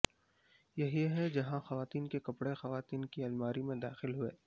یہی ہے جہاں خواتین کے کپڑے خواتین کی الماری میں داخل ہوئیں